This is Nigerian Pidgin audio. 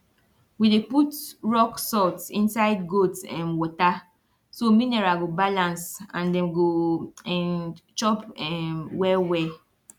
we dey put rock salt inside goat um water so mineral go balance and dem go um chop um well well